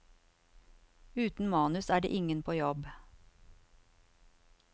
Uten manus er det ingen på jobb.